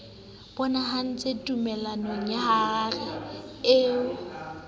bonahetse tumellanong ya harare eo